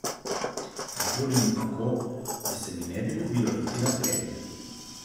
Nikoli ni tako, da se mi ne bi ljubilo iti na trening.